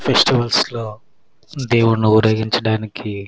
festivals లో దేవుణ్ణి ఊరేగించడానికి --